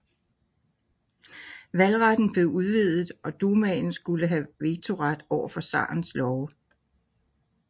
Valgretten blev udvidet og Dumaen skulle have vetoret overfor zarens love